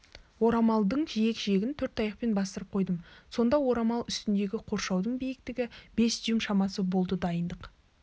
орамалдың жиек-жиегін төрт таяқпен бастырып қойдым сонда орамал үстіндегі қоршаудың биіктігі бес дюйм шамасы болды дайындық